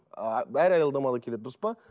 ыыы бәрі аялдамаға келеді дұрыс па